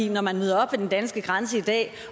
når man møder op ved den danske grænse i dag